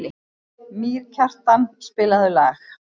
Mýrkjartan, spilaðu lag.